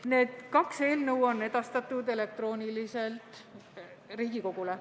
Need kaks eelnõu on edastatud elektrooniliselt Riigikogule.